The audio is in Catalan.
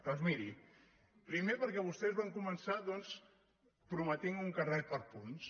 doncs miri primer perquè vostès van començar doncs prometent un carnet per punts